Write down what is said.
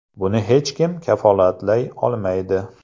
Buni hech kim kafolatlay olmaydi.